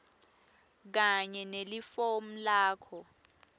kanye nelifomu lakho